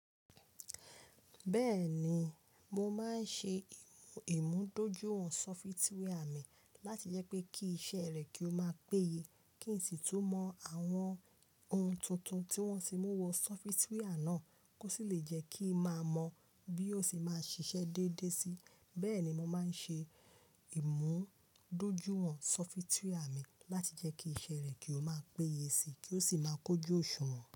Bẹ́ẹ̀ni, mo máa ń ṣe ìmúdójúìwọ̀n sọfitíwà mi láti jẹ́ pé kí iṣẹ́ rẹ̀ kí ó máa péye, kí n sì tún mọ àwọn ohun tuntun tí wọ́n ti mú wọ sọfitíwà náà, kó sì lè jẹ́ kí ń máa mọ bí ó ṣe máa ṣiṣẹ́ déédé síi. Bẹ́ẹ̀ ni mo máa ń ṣe ìmúdójúìwọ̀n sọfitíwà mi láti jẹ́ kí iṣẹ́ rẹ̀ kí ó máa péye síi, kí ó sì máa kójú òṣùwọ̀n.